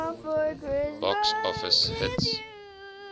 box office hits